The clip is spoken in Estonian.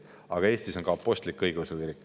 Aga Eestis on ka apostlik-õigeusu kirik.